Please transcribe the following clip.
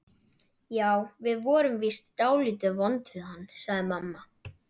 Já, við vorum víst dálítið vond við hann, sagði mamma.